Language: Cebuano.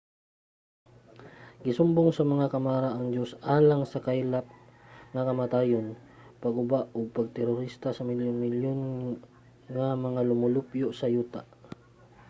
gisumbong sa mga kamara ang diyos alang sa kaylap nga kamatayon pagkaguba ug pag-terorista sa milyon-milyon nga mga lumulupyo sa yuta.